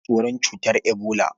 Ana tsoron cutar ebola.